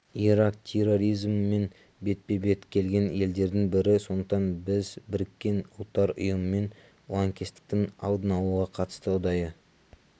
ирак терроризммен бетпе-бет келген елдердің бірі сондықтан біз біріккен ұлттар ұйымымен лаңкестіктің алдын алуға қатысты ұдайы